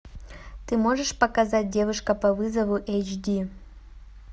ты можешь показать девушка по вызову эйч ди